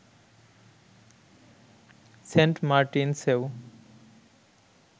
Saint মার্টিনসেও